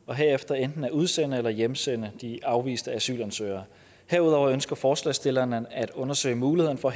og herefter enten at udsende eller hjemsende de afviste asylansøgere herudover ønsker forslagsstillerne at undersøge mulighederne for